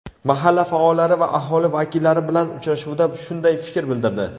mahalla faollari va aholi vakillari bilan uchrashuvda shunday fikr bildirdi.